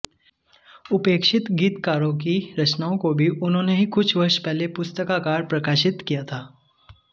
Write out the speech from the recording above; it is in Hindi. उपेक्षित गीतकारों की रचनाओं को भी उन्होंने ही कुछ वर्ष पहले पुस्तकाकार प्रकाशित किया था